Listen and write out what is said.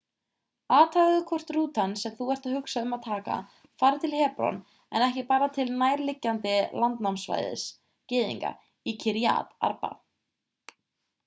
athugaðu hvort rútan sem þú ert að hugsa um að taka fari til hebron en ekki bara til nærliggjandi landnámssvæðis gyðinga í kiryat arba